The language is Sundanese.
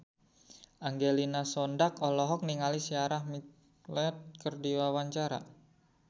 Angelina Sondakh olohok ningali Sarah McLeod keur diwawancara